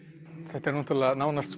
þetta er nánast